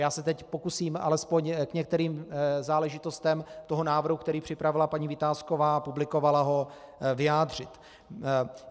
Já se teď pokusím alespoň k některým záležitostem toho návrhu, který připravila paní Vitásková a publikovala ho, vyjádřit.